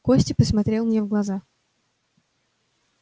костя посмотрел мне в глаза